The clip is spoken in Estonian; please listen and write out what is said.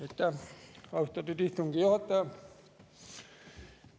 Aitäh, austatud istungi juhataja!